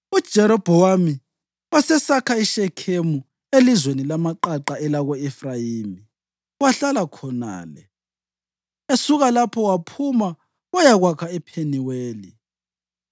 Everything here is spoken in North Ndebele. UJerobhowamu wasesakha iShekhemu elizweni lamaqaqa elako-Efrayimi wahlala khonale. Esuka lapho waphuma wayakwakha ePheniweli.